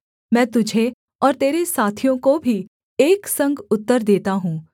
मैं तुझे और तेरे साथियों को भी एक संग उत्तर देता हूँ